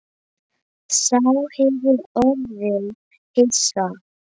Sá hefur orðið hissa